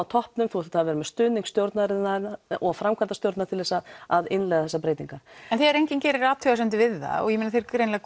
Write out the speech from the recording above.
toppnum þú þarft að hafa stuðning stjórnar og framkvæmdastjórnar til þess að að innleiða þessa breytingu en þegar enginn gerir athugasemd við það og þeir greinilega